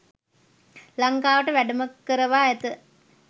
ලංකාවට වැඩම කරවා ඇත.